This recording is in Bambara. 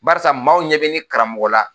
Barisa maaw ɲɛ bɛ ne karamɔgɔ la